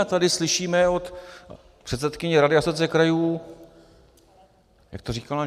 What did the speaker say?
A tady slyšíme od předsedkyně Rady Asociace krajů - jak to říkala?